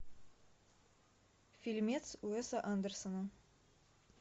фильмец уэса андерсона